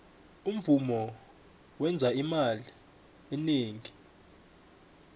umvumo wenza imali eningi